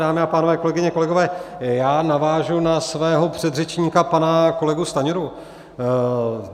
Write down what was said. Dámy a pánové, kolegyně, kolegové, já navážu na svého předřečníka, pana kolegu Stanjuru.